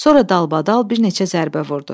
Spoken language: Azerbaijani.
Sonra dalbadal bir neçə zərbə vurdu.